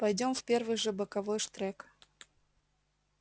пойдём в первый же боковой штрек